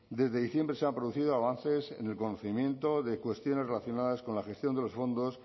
desde diciembre se han producido avances en el conocimiento de cuestiones relacionadas con la gestión de los fondos